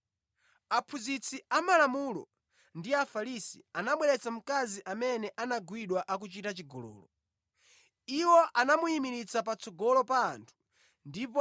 Aphunzitsi amalamulo ndi Afarisi anabweretsa mkazi amene anagwidwa akuchita chigololo. Iwo anamuyimiritsa patsogolo pa anthu ndipo